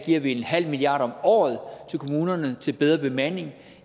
giver vi en halv milliard kroner om året til kommunerne til bedre bemanding